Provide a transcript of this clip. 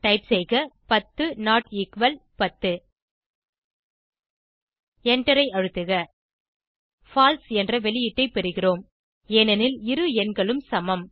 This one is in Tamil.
டைப் செய்க 10 நோட் எக்குவல் 10 எண்டரை அழுத்துக பால்சே என்ற வெளியீட்டை பெறுகிறோம் ஏனெனில் இரு எண்களும் சமம்